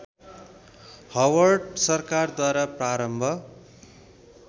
Howard सरकारद्वारा प्रारम्भ